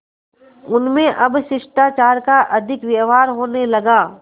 उनमें अब शिष्टाचार का अधिक व्यवहार होने लगा